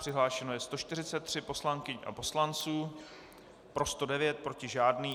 Přihlášeno je 143 poslankyň a poslanců, pro 109, proti žádný.